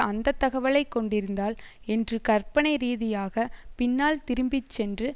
அந்த தகவலைக் கொண்டிருந்தால் என்று கற்பனை ரீதியாக பின்னால் திரும்பிச்சென்று